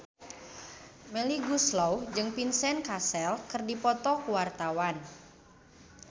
Melly Goeslaw jeung Vincent Cassel keur dipoto ku wartawan